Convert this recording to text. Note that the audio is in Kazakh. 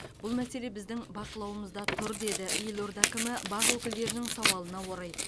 бұл мәселе біздің бақылауымызда тұр деді елорда әкімі бақ өкілдерінің сауалына орай